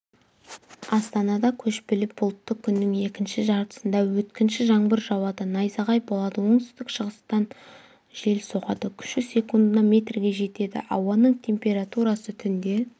астанада көшпелі бұлтты күннің екінші жартысында өткінші жаңбыр жауады найзағай болады оңтүстік-шығыстан жел соғады күші секундына метрге жетеді ауаның температурасы түнде